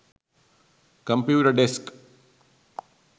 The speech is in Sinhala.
computer desk